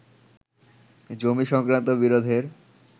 জমি সংক্রান্ত বিরোধের